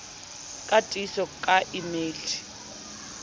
la tiiso ka e meile